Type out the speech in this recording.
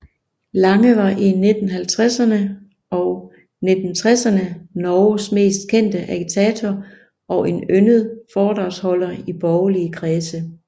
Lange var i 1950erne og 1960erne Norges mest kendte agitator og en yndet foredragsholder i borgerlige kredse